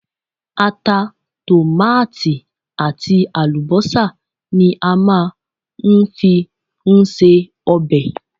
Ata, Tòmáàtì àti àlùbọ́sà ni a máa ń fi ń se ọbẹ̀.